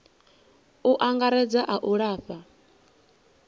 u angaredza a u lafha